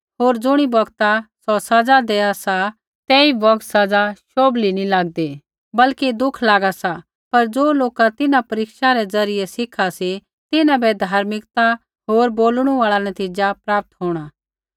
होर ज़ुणी बौगता सौ सज़ा देआ सी तेई बौगता सज़ा शोभली नैंई लागदी बल्कि दुख लागा सा पर ज़ो लोका तिन्हां परीक्षा रै द्वारा सिखा सी तिन्हां बै धार्मिकता होर बोलणु आल़ा नतीज़ा प्राप्त होंणा